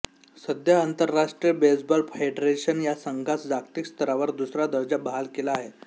सध्या आंतरराष्ट्रीय बेसबॉल फेडरेशनने या संघास जागतिक स्तरावर दुसरा दर्जा बहाल केला आहे